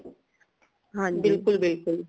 ਬਿਲਕੁਲ ਬਿਲਕੁਲ